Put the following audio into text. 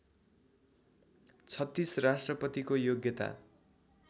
३६ राष्ट्रपतिको योग्यता